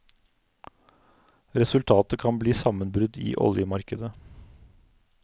Resultatet kan bli sammenbrudd i oljemarkedet.